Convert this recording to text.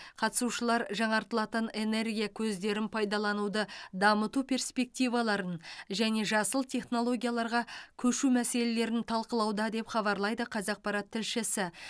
қатысушылар жаңартылатын энергия көздерін пайдалануды дамыту перспективаларын және жасыл технологияларға көшу мәселелерін талқылауда деп хабарлайды қазақпарат тілшісі